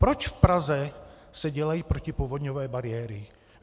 Proč v Praze se dělají protipovodňové bariéry?